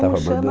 Como chama?